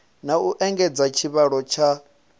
na u engedza tshivhalo tsha